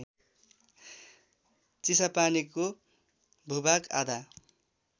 चिसापानीको भूभाग आधा